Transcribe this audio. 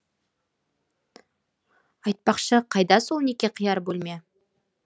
айтпақшы қайда сол неке қияр бөлме